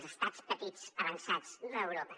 els estats petits avançats d’europa